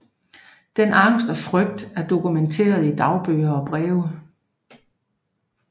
Denne angst og frygt er dokumenteret i dagbøger og breve